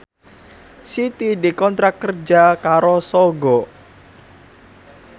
Siti dikontrak kerja karo Sogo